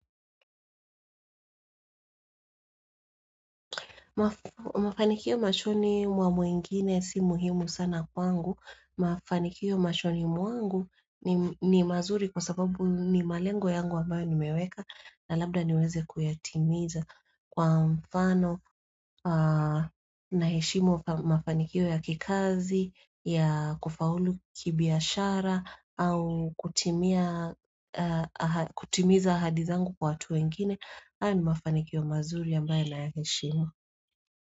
Mafanikio mashoni wa mwingine si muhimu sana kwangu. Mafanikio mashoni mwangu ni mazuri kwa sababu ni malengo yangu ambayo ni meweka na labda niweze kuyatimiza kwa mfano na heshimu mafanikio ya kikazi, ya kufaulu kibiashara au kutimiza ahadizangu kwa watu wengine. Haya ni mafanikio mazuri ambayo naya heshimu.